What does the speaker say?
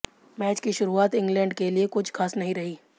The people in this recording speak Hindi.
मैच की शुरुआत इंग्लैंड के लिए कुछ खास नहीं रही